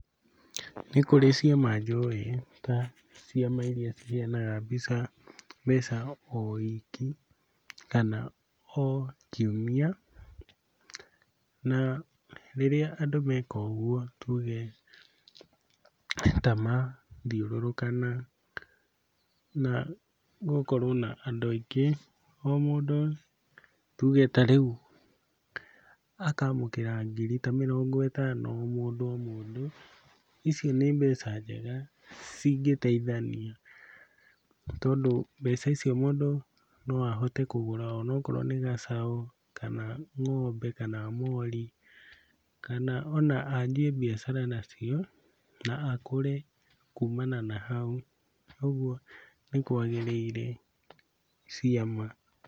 Nĩ kũrĩ ciama njũĩ ta ciama iria ciheanaga mbeca mbeca o wiki kana o kiumia, na rĩrĩa andũ meka ũguo tuge ta mathiũrũrũkana na gũkorwo na andũ aingĩ, o mũndũ tuge ta rĩu akaamũkĩra ngiri ta mĩrongo ĩtano o mũndũ o mũndũ, icio nĩ mbeca njega cingĩteithania tondũ mbeca icio mũndũ no ahote kũgũra ona okorwo nĩ gacaũ, kana ng'ombe kana mori, kana ona anjĩe mbiacara nacio na akũre kumana na hau, kuoguo nĩkwagĩrĩire ciama.